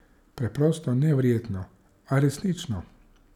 Preprosto neverjetno, a resnično!